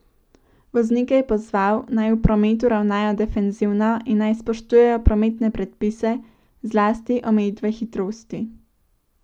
Voznike je pozval, naj v prometu ravnajo defenzivno in naj spoštujejo prometne predpise, zlasti omejitve hitrosti.